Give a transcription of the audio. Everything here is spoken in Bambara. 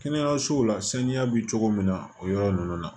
Kɛnɛyasow la saniya bɛ cogo min na o yɔrɔ ninnu na